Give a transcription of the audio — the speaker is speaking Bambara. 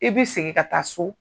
I b'i segin ka taa so,